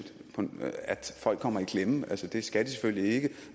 folk kommer i klemme altså det skal de selvfølgelig ikke